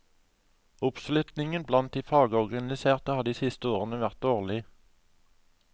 Oppslutningen blant de fagorganiserte har de siste årene vært dårlig.